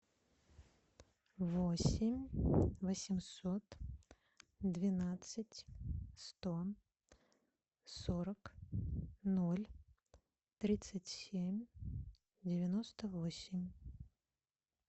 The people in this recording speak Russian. восемь восемьсот двенадцать сто сорок ноль тридцать семь девяносто восемь